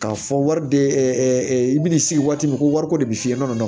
K'a fɔ wari bɛ i bɛ n'i sigi waati min ko wariko de bɛ f'i ye kɔnɔ